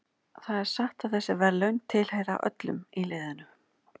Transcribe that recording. Það er satt að þessi verðlaun tilheyra öllum í liðinu.